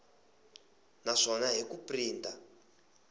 na swona hi ku printa